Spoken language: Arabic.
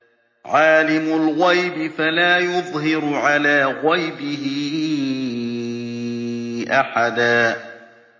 عَالِمُ الْغَيْبِ فَلَا يُظْهِرُ عَلَىٰ غَيْبِهِ أَحَدًا